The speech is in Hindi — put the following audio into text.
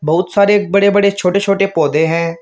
बहुत सारे बड़े बड़े छोटे छोटे पौधे हैं।